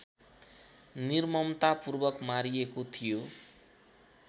निर्ममतापूर्वक मारिएको थियो।